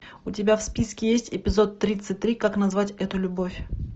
у тебя в списке есть эпизод тридцать три как назвать эту любовь